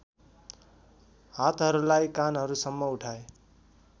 हातहरूलाई कानहरूसम्म उठाए